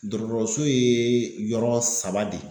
Dɔgɔtɔrɔso ye yɔrɔ saba de ye